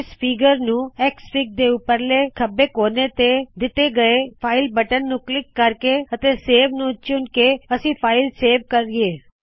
ਇਸ ਫਿਗਰ ਨੂੰ ਐਕਸਐਫਆਈਜੀ ਦੇ ਉਪਰਲੇ ਖੱਬੇ ਕੋਣੇ ਤੋ ਦਿੱਤੇ ਗਏ ਫਾਈਲ ਬਟਨ ਨੂੰ ਕਲਿੱਕ ਕਰਕੇ ਅਤੇ ਸੇਵ ਨੂੰ ਚੂਣ ਕੇ ਅਸੀ ਫਾਇਲ ਸੇਵ ਕਰਿਏ